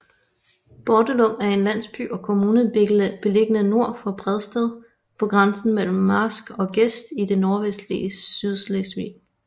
Bordelum er en landsby og kommune beliggende nord for Bredsted på grænsen mellem marsk og gest i det nordvestlige Sydslesvig